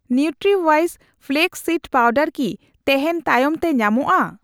ᱱᱤᱣᱴᱨᱤᱣᱤᱥ flax seed powder ᱠᱤ ᱛᱮᱦᱮᱧ ᱛᱟᱭᱚᱢᱛᱮ ᱧᱟᱢᱚᱜᱼᱟ ?